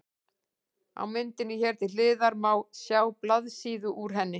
Á myndinni hér til hliðar má sjá blaðsíðu úr henni.